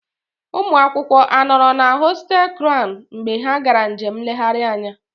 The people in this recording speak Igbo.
Ụmụ akwụkwọ a nọrọ na họtel Crown mgbe ha gara njem nlegharị anya